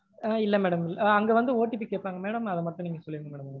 ஆஹ் இல்ல madam. அங்க வந்து OTP கேப்பாங்க madam. அத மட்டும் நீங்க சொல்லிருங்க madam.